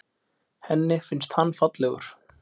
Henni finnst hann fallegur.